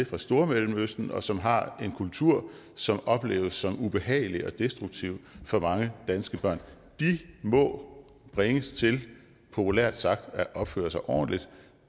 fra stormellemøsten og som har en kultur som opleves som ubehagelig og destruktiv for mange danske børn de må bringes til populært sagt at opføre sig ordentligt